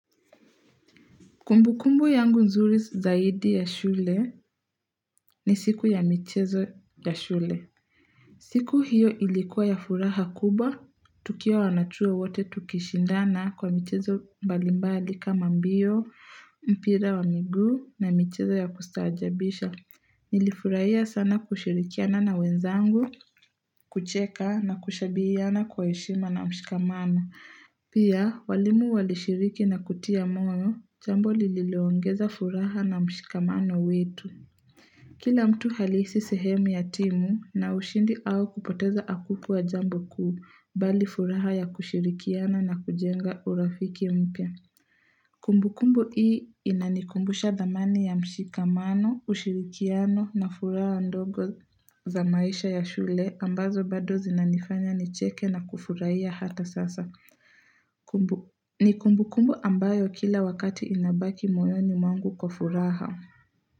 Kumbukumbu yangu nzuri zaidi ya shule ni siku ya michezo ya shule. Siku hiyo ilikuwa ya furaha kubwa, tukiwa wanachuo wote tukishindana kwa michezo mbalimbali kama mbio, mpira wa miguu na michezo ya kustajabisha. Nilifuraiya sana kushirikiana na wenzangu, kucheka na kushabihiana kwa heshima na mshikamana. Pia, walimu walishiriki na kutia moyo, jambo lililiongeza furaha na mshikamano wetu. Kila mtu alihisi sehemu ya timu na ushindi au kupoteza akukuwa jambo kuu bali furaha ya kushirikiana na kujenga urafiki mpya. Kumbukumbu hii inanikumbusha thamani ya mshikamano, ushirikiano na furaha ndogo za maisha ya shule ambazo bado zinanifanya nicheke na kufurahia hata sasa. Ni kumbukumbu ambayo kila wakati inabaki moyoni mwangu kwa furaha.